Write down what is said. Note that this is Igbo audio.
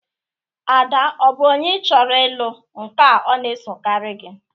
Ada ọ bụ onye ị chọrọ ịlụ nka ọ na-esogarị gị?